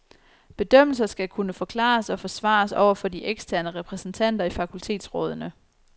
Bedømmelser skal kunne forklares og forsvares over for de eksterne repræsentanter i fakultetsrådene.